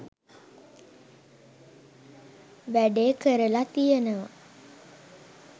වැඩේ කරල තියනවා.